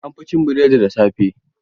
An fi cin burodi da safe.